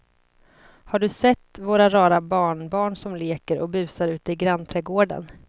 Har du sett våra rara barnbarn som leker och busar ute i grannträdgården!